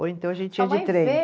Ou então a gente ia de trem.